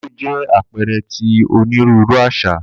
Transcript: Ijó jẹ apẹẹrẹ ti oniruuru aṣa.